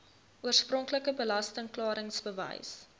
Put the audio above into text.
oorspronklike belasting klaringsbewys